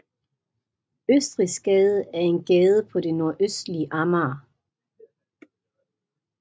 Østrigsgade er en gade på det nordøstlige Amager